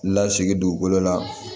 Lasegin dugukolo la